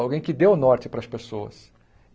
Alguém que dê o norte para as pessoas.